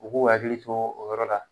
O K'o hakili to o yɔrɔ la